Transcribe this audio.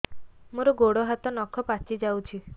ମୋର ଗୋଡ଼ ହାତ ନଖ ପାଚି ଯାଉଛି